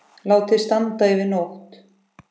Látið standa yfir nótt.